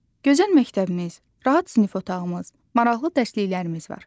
Gözəl məktəbimiz, rahat sinif otağımız, maraqlı dərsliklərimiz var.